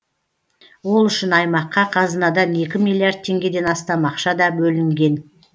ол үшін аймаққа қазынадан екі миллиард теңгеден астам ақша да бөлінген